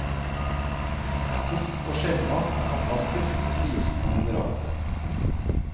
Fisk og skjellmat er fantastisk og prisene moderate.